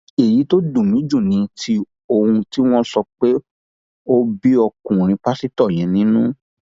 èyí tó dùn mí jù ni ti ohun tí wọn sọ pé ó ń bí ọkùnrin pásítọ yẹn nínú